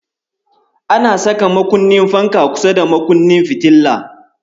Ana saka makunnin fanka kusa da makunnin fitila.